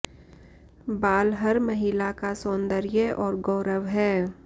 बाल हर महिला का सौंदर्य और गौरव है